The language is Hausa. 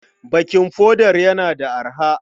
Baking powder yana da arha?